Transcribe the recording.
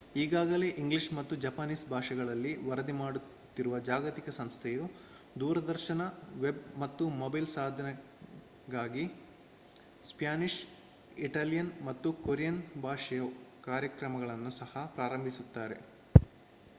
ಈಗಾಗಲೇ ಇಂಗ್ಲಿಷ್ ಮತ್ತು ಜಪಾನೀಸ್ ಭಾಷೆಗಳಲ್ಲಿ ವರದಿ ಮಾಡುತ್ತಿರುವ ಜಾಗತಿಕ ಸಂಸ್ಥೆಯು ದೂರದರ್ಶನ ವೆಬ್ ಮತ್ತು ಮೊಬೈಲ್ ಸಾಧನಗಳಿಗಾಗಿ ಸ್ಪ್ಯಾನಿಷ್ ಇಟಾಲಿಯನ್ ಮತ್ತು ಕೊರಿಯನ್ ಭಾಷೆಯ ಕಾರ್ಯಕ್ರಮಗಳನ್ನು ಸಹ ಪ್ರಾರಂಭಿಸುತ್ತಿದೆ